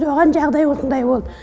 оған жағдай осындай болды